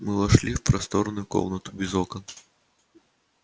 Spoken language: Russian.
мы вошли в просторную комнату без окон